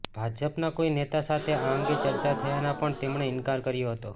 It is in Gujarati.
ભાજપના કોઈ નેતા સાથે આ અંગે ચર્ચા થયાનો પણ તેમણે ઈનકાર કર્યો હતો